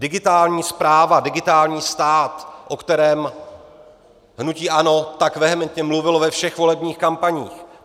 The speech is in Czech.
Digitální správa, digitální stát, o kterém hnutí ANO tak vehementně mluvilo ve všech volebních kampaních.